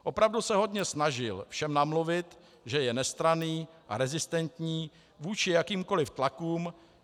Opravdu se hodně snažil všem namluvit, že je nestranný a rezistentní vůči jakýmkoliv tlakům.